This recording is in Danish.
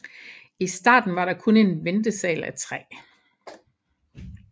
I starten var der kun en ventesal af træ